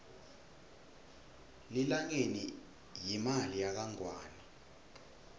lilangeni yimali yakangwane